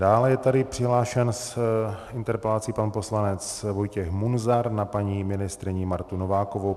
Dále je tady přihlášen s interpelací pan poslanec Vojtěch Munzar na paní ministryni Martu Novákovou.